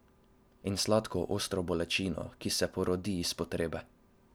In sladko, ostro bolečino, ki se porodi iz potrebe.